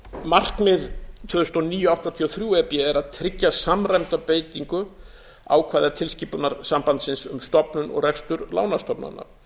markmið tvö þúsund og níu áttatíu og þrjú e b er að tryggja samræmda beitingu ákvæða tilskipunar sambandsins um stofnun og rekstur lánastofnana